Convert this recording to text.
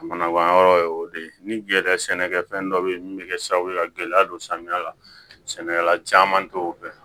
A mana ban yɔrɔ ye o de ye ni yɛrɛ sɛnɛkɛfɛn dɔ be yen min be kɛ sababu ye ka gɛlɛya don samiya la sɛnɛkala caman t'o dɔn